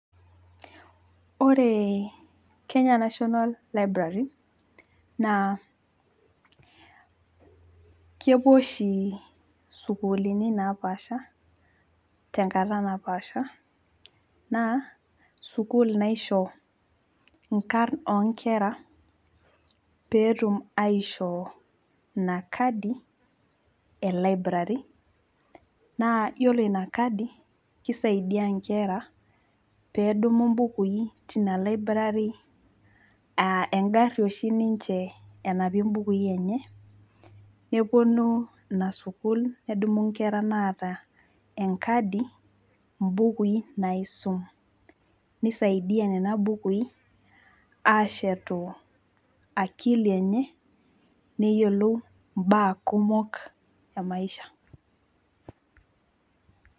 Ore kenya national library naa kepuo oshi isukuulini napashapasha tenkata napasha naa sukuul naisho inkarn onkera pee etum aishoo inakadi elibrary naa yiolo inakadi naa kisaidia nkera peedumu mbukui tina library aa engari oshi ninche enapie bukui enye , neponu inasukuul , nedumu inkera naata enkadi mbukui naisum, nisaidia nena bukui ashetu akili enye neyiolou imbaa kumok emaisha.